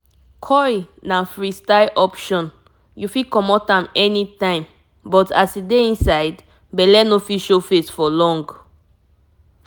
if u pick coil e dey block belle steady for long e dey give you that long time protection um wey sure die you know ah!